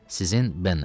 Sizin Bennet.